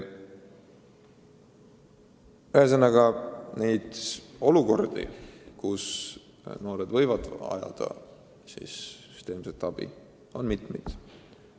Ühesõnaga, neid olukordi, kus noored võivad vajada süsteemset abi, on mitmesuguseid.